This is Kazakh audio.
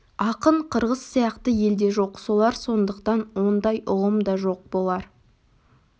ақын қырғыз сияқты елде жоқ болар сондықтан ондай ұғым да жоқ болар